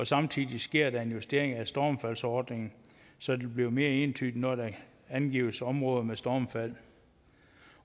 samtidig sker der en justering af stormfaldsordningen så det bliver mere entydigt når der angives områder med stormfald